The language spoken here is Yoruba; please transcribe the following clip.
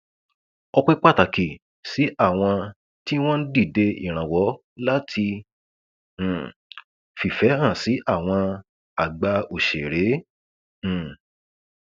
ọpẹ pàtàkì sí àwọn tí wọn ń dìde ìrànwọ láti um fìfẹ hàn sí àwọn àgbà òṣèré um